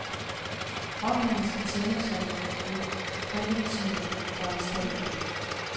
Ordningen skal tjene som en præventiv foranstaltning.